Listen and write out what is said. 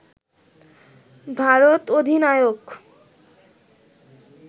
ভারত অধিনায়ক